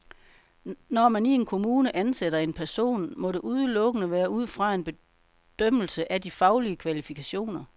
Når man i en kommune ansætter en person, må det udelukkende være ud fra en bedømmelse af de faglige kvalifikationer.